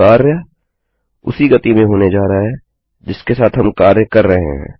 कार्य उसी गति में होने जा रहा है जिसके साथ हम कार्य कर रहे हैं